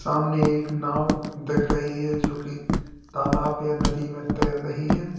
सामने एक नांव दिख रही है जो कि तालाब या नदी में तैर रही है।